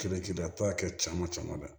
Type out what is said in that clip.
Kɛlɛkɛlaba kɛ caman camanba